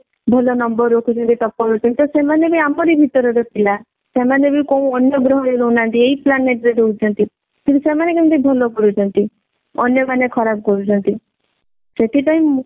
ଭଲ number ରଖୁଛନ୍ତି topper ହଉଛନ୍ତି ତ ସେମାନେ ବି ଆମରି ଭିତର ର ପିଲା। ସେମାନେ ବି କଉ ଅନ୍ୟ ଗ୍ରହ ରେ ରହୁ ନାହାନ୍ତି ଏଇ planet ରେ ରହୁଛନ୍ତି କିନ୍ତୁ ସେମାନେ କେମିତି ଭଲ କରୁଛନ୍ତି ଅନ୍ୟ ମାନେ ଖରାପ କରୁଛନ୍ତି ସେଥିପାଇଁ